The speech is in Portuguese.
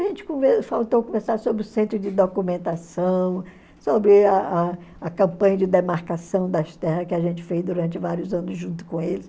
A gente faltou conversar sobre o centro de documentação, sobre a a a campanha de demarcação das terras que a gente fez durante vários anos junto com eles.